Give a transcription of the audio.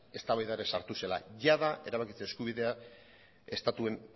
eztabaida ere sartu zela jadanik erabakitze eskubidea estatuen